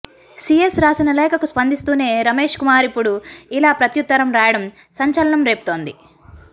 CS రాసిన లేఖకు స్పందిస్తూనే రమేష్ కుమార్ ఇప్పుడు ఇలా ప్రత్యుత్తరం రాయడం సంచలనం రేపుతోంది